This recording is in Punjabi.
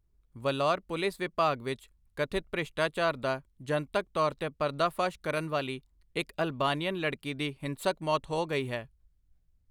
ਵਲੋਰ ਪੁਲਿਸ ਵਿਭਾਗ ਵਿੱਚ ਕਥਿਤ ਭ੍ਰਿਸ਼ਟਾਚਾਰ ਦਾ ਜਨਤਕ ਤੌਰ 'ਤੇ ਪਰਦਾਫਾਸ਼ ਕਰਨ ਵਾਲੀ ਇੱਕ ਅਲਬਾਨੀਅਨ ਲੜਕੀ ਦੀ ਹਿੰਸਕ ਮੌਤ ਹੋ ਗਈ ਹੈ।